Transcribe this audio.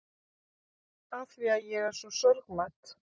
Afþvíað ég er svo sorgmædd.